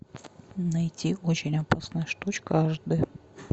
найти очень опасная штучка аш д